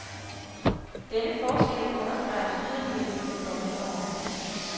Denne forskel understreges yderligere i de kommende år.